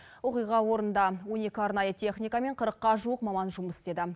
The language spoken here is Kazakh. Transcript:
оқиға орнында он екі арнайы техника мен қырыққа жуық маман жұмыс істеді